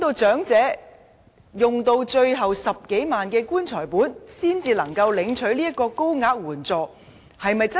長者是否要用盡最後10多萬元的"棺材本"時，才能領取這筆高額援助？